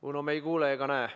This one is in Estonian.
Uno, me ei kuule ega näe.